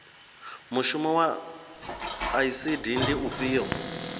mushumo wa icd ndi ufhio